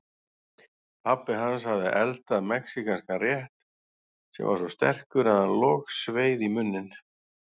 Pabbi hans hafði eldað mexíkanskan rétt sem var svo sterkur að hann logsveið í munninn.